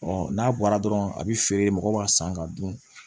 n'a bɔra dɔrɔn a bɛ feere mɔgɔw b'a san ka dun